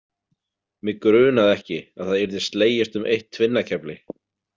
Mig grunaði ekki að það yrði slegist um eitt tvinnakefli.